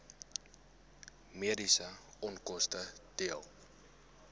mediese onkoste dele